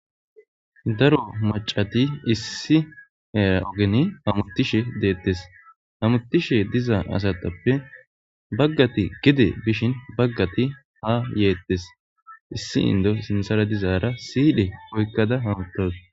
Daro macati issi eraogeni hamutishe deettes hamutishe diza asatappe baggati gide bishin baggati ha yeettes issi indo sinsara dizaara siidhe oykkada hamuttos.